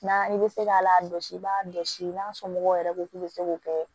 N'an bɛ se k'a la dɔsi i b'a dɔsi n'a somɔgɔw yɛrɛ ko k'i bɛ se k'o kɛ